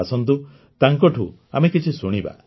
ଆସନ୍ତୁ ତାଙ୍କଠୁ ଆମେ କିଛି ଶୁଣିବା